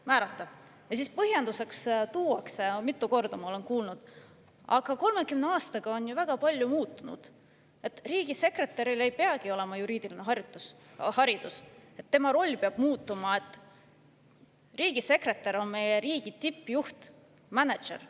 Ja siis tuuakse põhjenduseks – ma olen juba mitu korda seda kuulnud –, et 30 aastaga on ju väga palju muutunud, riigisekretäril ei peagi olema juriidiline haridus, tema roll peab muutuma, riigisekretär on meie riigi tippjuht, mänedžer.